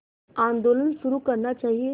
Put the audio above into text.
आंदोलन शुरू करना चाहिए